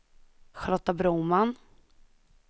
Charlotta Broman